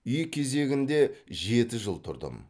үй кезегінде жеті жыл тұрдым